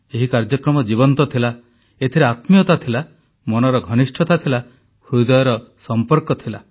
ଏହି କାର୍ଯ୍ୟକ୍ରମ ଜୀବନ୍ତ ଥିଲା ଏଥିରେ ଆତ୍ମୀୟତା ଥିଲା ମନର ଘନିଷ୍ଠତା ଥିଲା ହୃଦୟର ସମ୍ପର୍କ ଥିଲା